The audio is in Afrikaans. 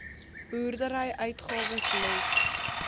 boerdery uitgawes let